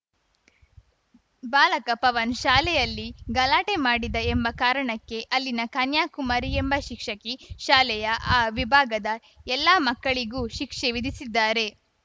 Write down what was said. ಬಾಲಕ ಪವನ್‌ ಶಾಲೆಯಲ್ಲಿ ಗಲಾಟೆ ಮಾಡಿದ ಎಂಬ ಕಾರಣಕ್ಕೆ ಅಲ್ಲಿನ ಕನ್ಯಾಕುಮಾರಿ ಎಂಬ ಶಿಕ್ಷಕಿ ಶಾಲೆಯ ಆ ವಿಭಾಗದ ಎಲ್ಲ ಮಕ್ಕಳಿಗೂ ಶಿಕ್ಷೆ ವಿಧಿಸಿದ್ದಾರೆ